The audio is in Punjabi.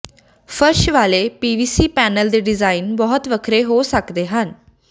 ਫਰਸ਼ ਵਾਲੇ ਪੀਵੀਸੀ ਪੈਨਲ ਦੇ ਡਿਜ਼ਾਇਨ ਬਹੁਤ ਵੱਖਰੇ ਹੋ ਸਕਦੇ ਹਨ